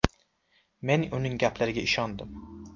Men uning gaplariga ishondim.